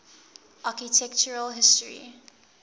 architectural history